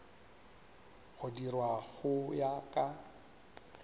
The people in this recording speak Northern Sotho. go dirwa go ya ka